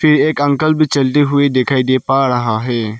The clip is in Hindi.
कि एक अंकल भी चलती हुई दिखाई दे पा ड़हा है।